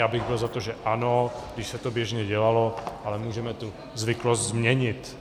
Já bych byl za to, že ano, když se to běžně dělalo, ale můžeme tu zvyklost změnit.